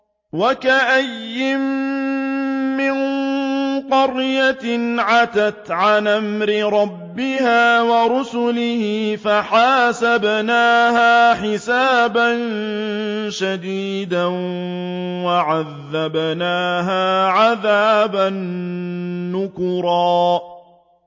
وَكَأَيِّن مِّن قَرْيَةٍ عَتَتْ عَنْ أَمْرِ رَبِّهَا وَرُسُلِهِ فَحَاسَبْنَاهَا حِسَابًا شَدِيدًا وَعَذَّبْنَاهَا عَذَابًا نُّكْرًا